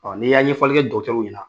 Ni y'a ɲɛfɔlikɛ dɔtɛriw ɲɛna.